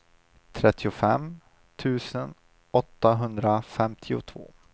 trettiofem tusen åttahundrafemtiotvå